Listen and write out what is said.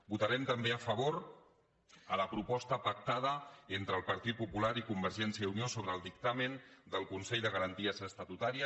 votarem també a favor a la proposta pactada entre el partit popular i convergència i unió sobre el dictamen del consell de garanties estatutàries